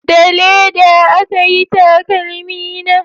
Da leda aka yi takalmi na